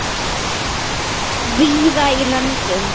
víða í löndum